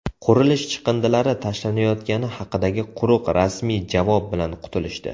Qurilish chiqindilari tashlanayotgani haqidagi quruq rasmiy javob bilan qutulishdi.